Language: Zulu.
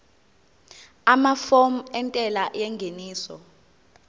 amafomu entela yengeniso